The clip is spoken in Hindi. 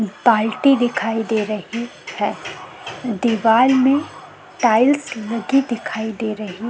बाल्टी दिखाई दे रही है दीवाल में टाइल्स लगी दिखाई दे रही--